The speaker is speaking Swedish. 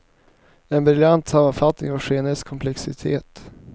En briljant sammanfattning av skeendets komplexitet.